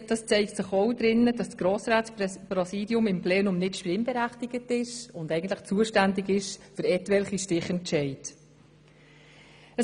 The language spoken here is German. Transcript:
Das zeigt sich auch darin, dass das Grossratspräsidium im Plenum nicht stimmberechtigt und allenfalls zuständig für etwelche Stichentscheide ist.